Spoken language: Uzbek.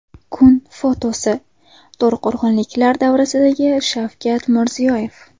Kun fotosi: To‘raqo‘rg‘onliklar davrasidagi Shavkat Mirziyoyev .